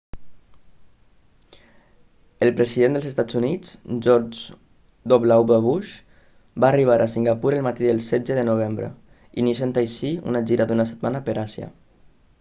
el president dels estats units george w bush va arribar a singapur el matí del 16 de novembre iniciant així una gira d'una setmana per àsia